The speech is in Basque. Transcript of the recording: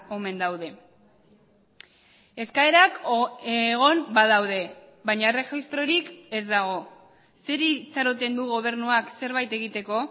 omen daude eskaerak egon badaude baina erregistrorik ez dago zeri itxaroten du gobernuak zerbait egiteko